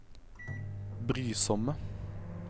brysomme